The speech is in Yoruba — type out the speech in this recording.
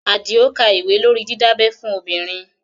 Àdìó ka ìwé lórí didabẹ́ fún obìnrin